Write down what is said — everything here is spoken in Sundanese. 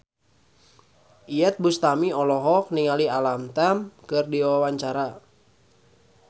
Iyeth Bustami olohok ningali Alam Tam keur diwawancara